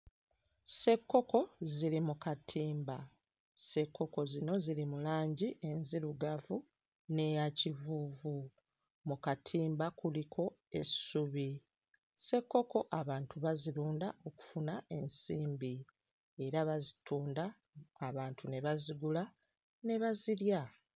Ssekkokko ziri mu katimba ssekkokko zino ziri mu langi enzirugavu n'eya kivuuvu. Mu katimba kuliko essubi. Ssekkokko abantu bazirunda okufuna ensimbi era bazitunda abantu ne bazigula ne bazirya.